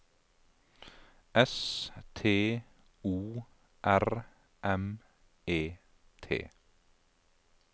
S T O R M E T